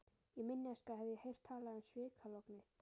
Í minni æsku hafði ég heyrt talað um svikalognið.